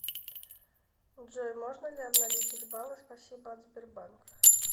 джой можно ли обналичить баллы спасибо от сбербанк